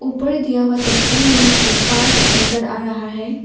ऊपर दिया हुआ तस्वीर में एक पार्क नजर आ रहा है।